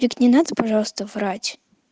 вик не надо пожалуйста врать